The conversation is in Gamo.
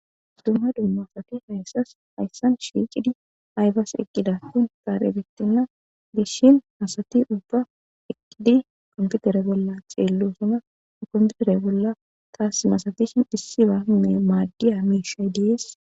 dumma dumma asati hayssas hayssan shiicidi aybas eqqida tun kaare betinna dishin masati ubba eqqidi qomfutere bolla xeello suna okomutere bolla taas masafishin issi ba madiya miishay dees